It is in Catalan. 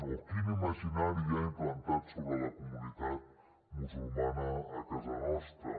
o quin imaginari hi ha implantat sobre la comunitat musulmana a casa nostra